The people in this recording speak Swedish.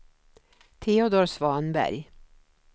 Teodor Svanberg